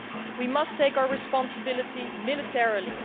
We must take our responsibility militarily.